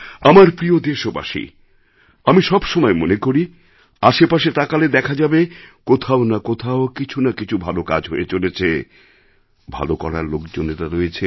আমার প্রিয় দেশবাসী আমি সবসময় মনে করি আশে পাশে তাকালে দেখা যাবে কোথাও না কোথাও কিছু না কিছু ভাল কাজ হয়ে চলেছে ভাল করার লোকজনেরা রয়েছেন